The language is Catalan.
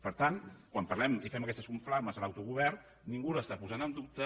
per tant quan parlem i fem aquestes soflames de l’autogovern ningú el posa en dubte